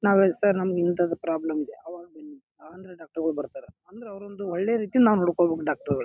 ನಾವ್ ಹೇಳ್ ಸರ್ ಇಂತದ್ ಪ್ರಾಬ್ಲಮ್ ಇದ ಅವಾಗ ಬನ್ನಿ ಅಹ್ ಅಂದ್ರ ಡಾಕ್ಟರ್ ಗಳು ಬರ್ತಾರ ಅಂದ್ರ ಅವರೊಂದು ಒಳ್ಳೇ ರೀತಿಯಲ್ಲಿ ನಾವ್ ನೋಡ್ಕೋಬೇಕ ಡಾಕ್ಟರ್ ಗೊಳು--